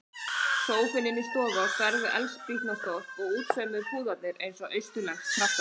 Sófinn inni í stofu á stærð við eldspýtnastokk og útsaumuðu púðarnir eins og austurlensk kraftaverk.